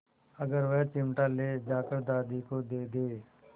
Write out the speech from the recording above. अगर वह चिमटा ले जाकर दादी को दे दे